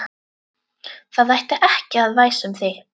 Það ætti ekki að væsa um þig.